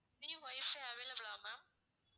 free wifi available ஆ ma'am